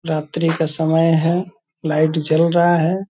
रात्रि का समय है। लाइट जल रहा है।